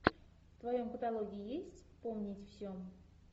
в твоем каталоге есть вспомнить все